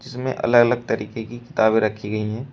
जिसमें अलग अलग तरीके की किताबें रखी गई हैं।